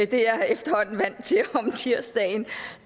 det er jeg efterhånden vant til om tirsdagen